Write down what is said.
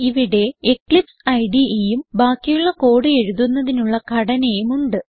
ഇവിടെ എക്ലിപ്സ് IDEയും ബാക്കിയുള്ള കോഡ് എഴുതുന്നതിനുള്ള ഘടനയും ഉണ്ട്